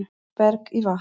Berg í vatn